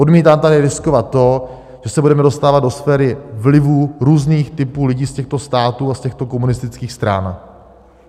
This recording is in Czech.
Odmítám tady riskovat to, že se budeme dostávat do sféry vlivu různých typů lidí z těchto států a z těchto komunistických stran.